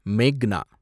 மேக்னா